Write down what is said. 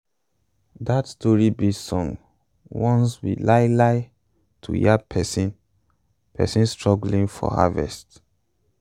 dat story-based song warns we lai lai to yab pesin pesin struggling for harvest.